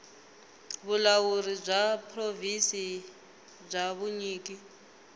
vulawuri bya provhinsi bya vunyiki